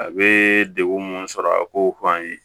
A bɛ degun mun sɔrɔ a kow fɔ an ye